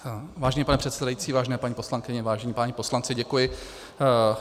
Vážený pane předsedající, vážené paní poslankyně, vážení páni poslanci, děkuji.